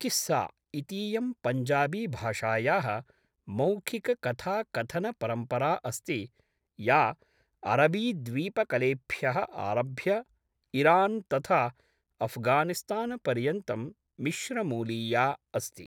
किस्सा इतीयं पंजाबीभाषायाः मौखिककथाकथनपरम्परा अस्ति, या अरबीद्वीपकलेभ्यः आरभ्य इरान् तथा अफ़्घानिस्तानपर्यन्तं मिश्रमूलीया अस्ति।